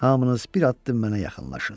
Hamınız bir addım mənə yaxınlaşın.